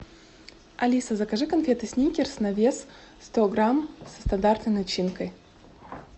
алиса закажи конфеты сникерс на вес сто грамм со стандартной начинкой